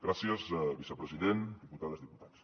gràcies vicepresident diputades diputats